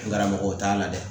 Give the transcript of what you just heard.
Karamɔgɔw t'a la dɛ